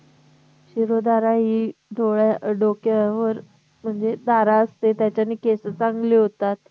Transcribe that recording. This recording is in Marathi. शिरोधारा हि डोळ्या डोक्यावर म्हणजे धारा असते, त्याच्याने केस चांगले होतात